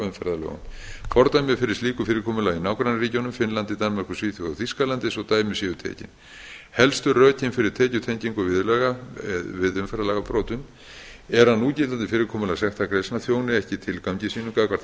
umferðarlögum fordæmi fyrir slíku fyrirkomulagi eru í nágrannaríkjunum finnlandi danmörku svíþjóð og þýskalandi svo dæmi séu tekin helstu rökin fyrir tekjutengingu viðurlaga við umferðarlagabrotum eru að núgildandi fyrirkomulag sektargreiðslna þjóni ekki tilgangi sínum gagnvart